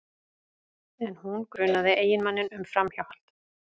En hún grunaði eiginmanninn um framhjáhald